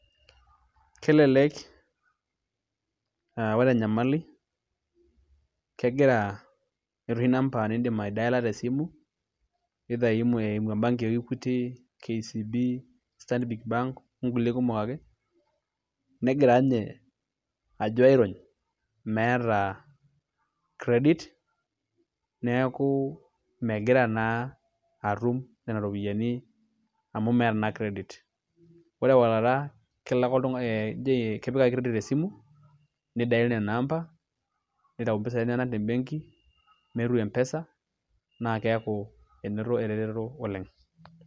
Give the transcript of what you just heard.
Kelelek aa ore enyamali kegira eeta oshi number niindim aidiala te simu either eimu embenki e Equity, KCB, Stanbic Bank onkulie kumok ake negira ninye ajo airony meeta credit neeku megira naa atum nena ropiyiani amu meeta naa credit, ore ewalata kepik ake credit esimu nidial nena amba nitayu mpisai enyenak te mbenki nepuo M-pesa naa keeku enoto eretoto oleng'.